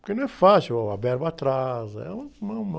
Porque não é fácil, a verba atrasa, é uma, uma